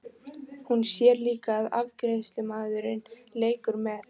Hún sér líka að afgreiðslumaðurinn leikur með.